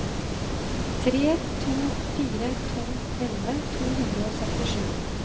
tre to fire to elleve to hundre og syttisju